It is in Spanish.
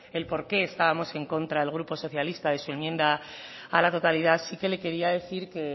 el por qué estábamos en contra el grupo socialista de su enmienda a la totalidad sí que le quería decir que